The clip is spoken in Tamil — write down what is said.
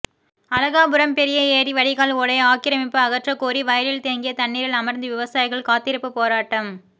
அழகாபுரம் பெரிய ஏரி வடிகால் ஓடை ஆக்கிரமிப்பு அகற்றகோரி வயலில் தேங்கிய தண்ணீரில் அமர்ந்து விவசாயிகள் காத்திருப்பு போராட்டம்